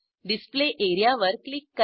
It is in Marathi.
डिस्प्ले एरिया वर क्लिक करा